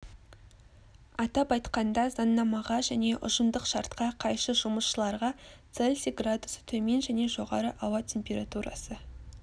атап айтқанда заңнамаға және ұжымдық шартқа қайшы жұмысшыларға цельсий градусы төмен және жоғары ауа температурасы